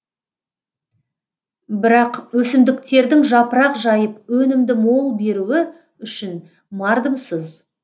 бірақ өсімдіктердің жапырақ жайып өнімді мол беруі үшін мардымсыз